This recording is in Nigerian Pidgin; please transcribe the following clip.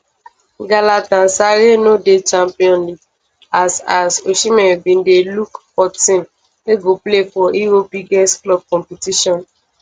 galatasaray no dey champions league as as osimhen bin dey look for team wey go play for europe biggest club competition